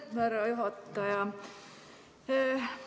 Aitäh, härra juhataja!